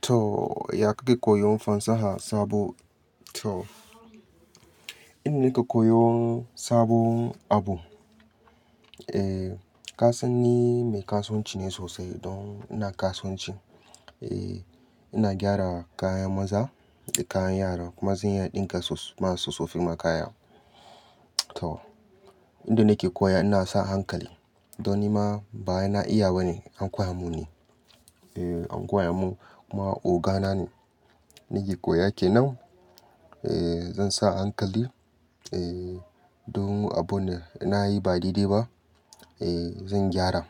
To, ya kake koyon fasaha sabo? To, inda nake koyon sabon abu, eh, kasani me kasuwanci ne sosai don ina kasuwanci. Eh, ina gyara kayan maza da kayan yara kuma zan iya ɗinka masu sosofima kaya. To, inda nake koyawa ina sa hankali don nima baya na iyaba ne, anko ya mun ne. Eh, anko ya mun kuma ogana ne nake koya ke nan. Eh, zan sa hankali, eh, don abun da nayi ba daidai ba, eh, zan gyara.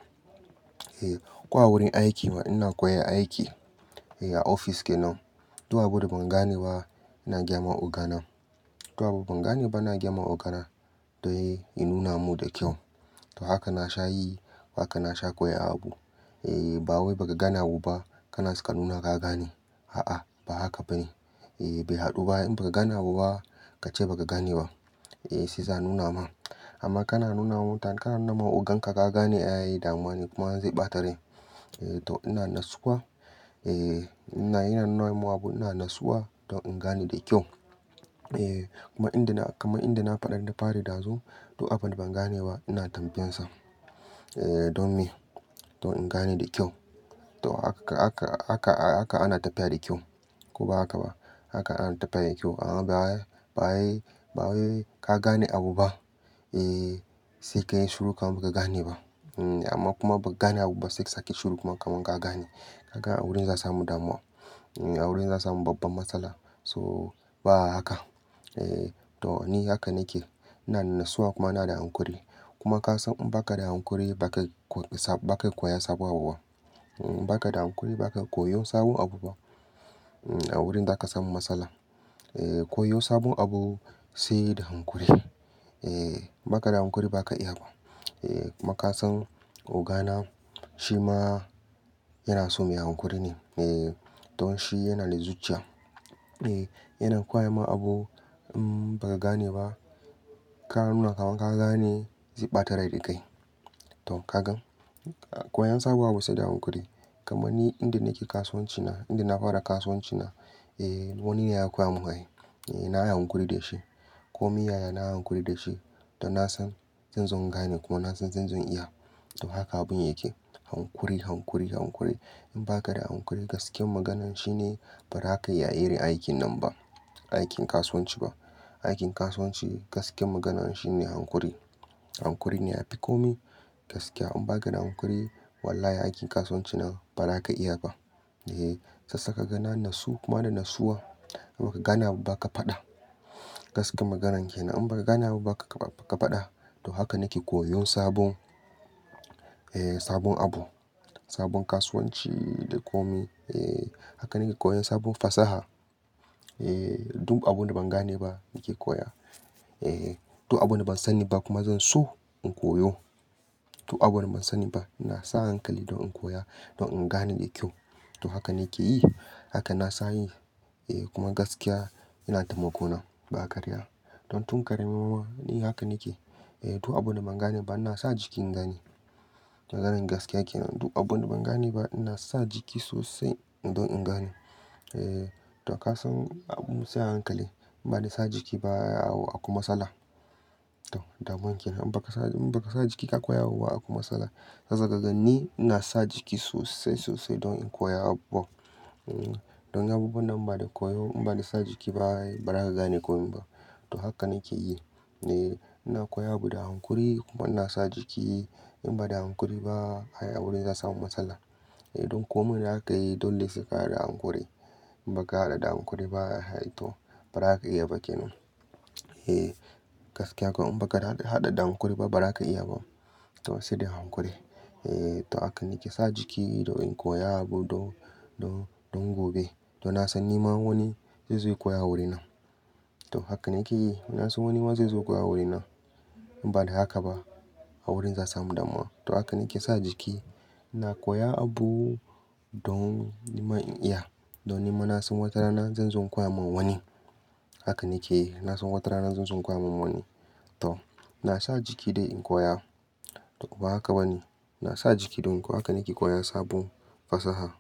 Eh, kowa wurin aikima ina koyan aiki, eh, a ofis kenan. To, abun da ban gane ba ina gyama ogana. To, abun ban gane ba ina gyama ogana don ya nuna mun da kyau. To, haka na sha yi, haka na sha koyi abu. Eh, ba wai ba ka gane abu ba kana saka nuna ka gane. A'a, ba haka ba ne. Eh, bai haɗu ba. In ba ka gane abu ba ka ce ba ka gane ba, eh, sai za a nuna ma. Amma kana nuna ma, kanana ogan ka gane ai yi damuwa ne kuma zai ɓata rai. Eh, to ina natsuwa, eh, ina yana nuna abu ina natsuwa don in gane da kyau. Eh, kuma inda na, kamar inda na faɗar da fari ɗazu. To, abun da ban gane ba ina tambayansa, eh, don me? Don in gane da kyau. To, haka, haka, haka, a haka ana tafiya da kyau. Ko ba haka ba. Haka ana tafiya da kyau. Amma ba, ba wa ba wai ka gane abu ba, eh, sai ka yi shiru kamar ka gane ba. Amma kuma ba gane abu ba sai sake ki shiru kuma kamar ka gane. Haka a wurin za a samu damuwa. A wurin za a samu babbar matsala. So, ba haka. Eh, to ni haka nake. Ina natsuwa kuma ina da hankuri. Kuma ka san in ba ka da hankuri ba ka, ba ka koya sabo abu ba. Ba ka da hankuri ba ka koyon sabon abu ba. A wurin za ka samu matsala. Eh, koyo sabon abu sai da hankuri. Eh, ba ka da hankuri ba ka iya ba. Eh, kuma kasan ogana shi ma yana so mai hankuri ne. Eh, to shi yana da zuciya. Eh, yana koya ma abu, mm, ba ka gane ba. Ka nuna kamar ka gane zai ɓata rai da kai. To ka gan. Koyon sabo abu sai da hankuri. Kaman ni inda nake kasuwanci na, inda na fara kasuwanci na, eh, wani ne ya koya mun ai. Eh, na yi hankuri da shi. Koh me yaya na yi hankuri da shi. Don na san zan zo gane kuma na san zan zo iya. To, haka abun yake. Hankuri, hankuri, hankuri. In ba ka da hankuri gaskiyar maganan shine ba ra ka iya yin aikin nan ba. Aikin kasuwanci ba. Aikin kasuwanci gaskiyar maganan shine hankuri. Hankuri ne yafi kome. Gaskiya in ba ka da hankuri, wallahi aikin kasuwanci na ba ra ka iya ba. Eh, sassaka gani nasu kuma da natsuwa. Abba ka gane ba ka faɗa. Gaskiyar maganan kenan in ba ka gane ba ba ka, ba ka faɗa. To, haka nake koyon sabon, eh, sabon abu. Sabon kasuwanci da komai. Eh, haka nake koyan sabon fasaha. Eh, duk abun da ban gane ba nake koya. Eh, to abun da ban sani ba kuma zan so in koyo. To, abun da ban sani ba ina sa hankali don in koya don in gane da kyau. To, haka nake yi. Haka na sani. Eh, kuma gaskiya ina taimako nan ba karya. Don tun karami ma ni haka nake. Eh, to abun da ban gane ba ina sa jiki in gani. Maganan gaskiya kenan. Duk abun da ban gane ba ina sa jiki sosai don in gani. Eh, to ka san abu sai hankali. Ba ni sa jiki ba a ku matsala. To, damuwa kenan. In ba ka sa, in ba ka sa jiki ka koya abu ba a kwai matsala. Sassa kaganni ina sa jiki sosai, sosai don in koya abu. Don abubuwan da ban da koyo in ba da sa jiki ba ai ba ra ka gane komai ba. To, haka nake yi. Eh, ina koya abu da hankuri kuma ina sa jiki. In ba da hankuri ba ai a wurin za a samu matsala. Eh, don komai na haka yayi don lesai ka haɗa da hankuri. In ba ka haɗa da hankuri ba ai to ba ra ka iya ba kenan. Eh, gaskiya kuwa in ba ka haɗa, haɗa da hankuri ba ba ra ka iya ba. To, sai da hankuri. Eh, to haka nake sa jiki don in koya abu don, don, don gobe. To, na san nima wani zai zo koya wurin nan. To, haka nake yi. Na san wani ma zai zo koya wurin nan. In ba da haka ba a wurin za a samu damuwa. To, haka nake sa jiki. Na koya abu don nima in iya. Don nima na san wata rana zan zo koya ma wani. Haka nake yi. Na san wata rana zan zo koya ma wani. To, na sa jiki dai in koya. To, ba haka ba ne. Na sa jiki don koyo. Haka nake koya sabon fasaha.